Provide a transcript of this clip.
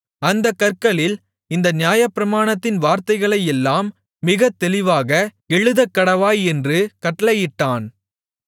அந்தக் கற்களில் இந்த நியாயப்பிரமாணத்தின் வார்த்தைகளையெல்லாம் மிகத்தெளிவாக எழுதக்கடவாய் என்று கட்டளையிட்டான்